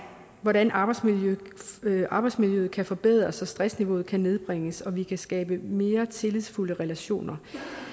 hvordan arbejdsmiljøet arbejdsmiljøet kan forbedres og stressniveauet kan nedbringes og vi kan skabe mere tillidsfulde relationer